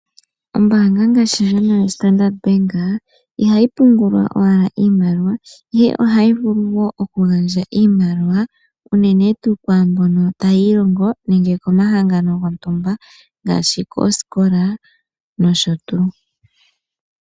Ombaanga ngaashi ndjono yaStandard Bank ihayi pungulwa owala iimaliwa, ihe ohayi vulu wo oku gandja iimaliwa unene tuu kwaambono tayi ilongo nenge komahangano gontumba ngaashi koosikola nosho tuu.